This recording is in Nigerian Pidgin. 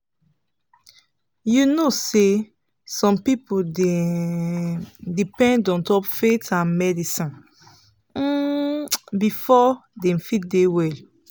you know say some people dey um depend ontop faith and medicine um before dem fit dey well.